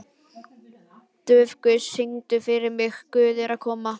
Dufgus, syngdu fyrir mig „Guð er kona“.